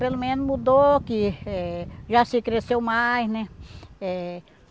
Pelo menos mudou que eh Jaci cresceu mais, né? Eh